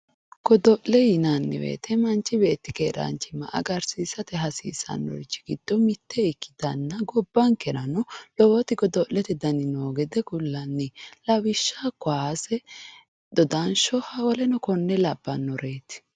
Godo'le yinanni woyiite manchi beetti keeraanchimma agarsiisate hasiisannorichi giddo mitte ikkitanna gobbankerano lowoti godo'lete dani noo gede kullanni. Lawishshao kaase, dodansho woleno kuri labbannoreeti.